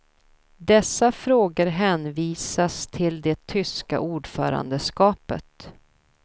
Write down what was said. Dessa frågor hänvisas till det tyska ordförandeskapet.